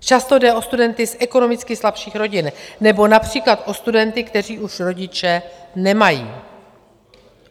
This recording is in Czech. Často jde o studenty z ekonomicky slabších rodin nebo například o studenty, kteří už rodiče nemají.